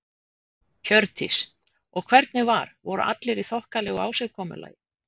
Hjördís: Og hvernig var, voru allir í þokkalegu ásigkomulagi?